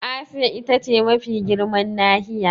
Asiya ita ce mafi girman nahiya.